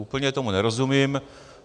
Úplně tomu nerozumím.